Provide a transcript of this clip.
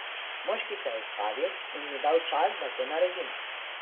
Moški se je ustavil in mi dal čas, da to naredim.